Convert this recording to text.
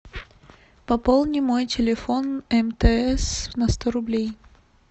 пополни мой телефон мтс на сто рублей